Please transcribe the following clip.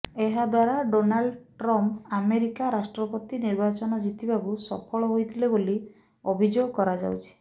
ଏହାଦ୍ୱାରା Donald Trump America ରାଷ୍ଟ୍ରପତି ନିର୍ବାଚନ ଜିତିବାକୁ ସଫଳ ହୋଇଥିଲେ ବୋଲି ଅଭିଯୋଗ କରାଯାଉଛି